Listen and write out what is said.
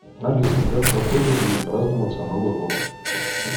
алиса как в отеле будет праздноваться новый год